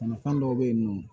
fɛn dɔw bɛ yen nɔ